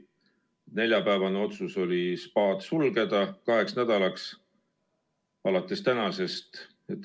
Neljapäevane otsus oli spaad sulgeda kaheks nädalaks alates tänasest.